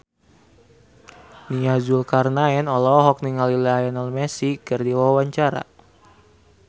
Nia Zulkarnaen olohok ningali Lionel Messi keur diwawancara